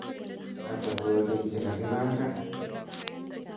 ata twolik chegagipangan